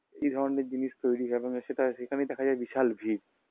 এই ধরনের জিনিস তৈরি হয় মানে সেটা সেখানেই দেখা যায় বিশাল ভীড়